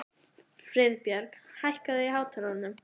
Friðbjörg, hækkaðu í hátalaranum.